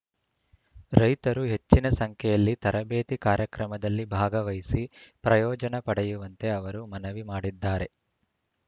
ರೈತರು ಹೆಚ್ಚಿನ ಸಂಖ್ಯೆಯಲ್ಲಿ ತರಬೇತಿ ಕಾರ್ಯಕ್ರಮದಲ್ಲಿ ಭಾಗವಹಿಸಿ ಪ್ರಯೋಜನ ಪಡೆಯುವಂತೆ ಅವರು ಮನವಿ ಮಾಡಿದ್ದಾರೆ